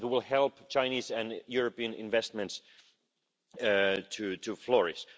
It will help Chinese and European investments to flourish.